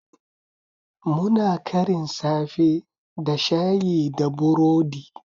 Muna karin safe da Shayi da burodi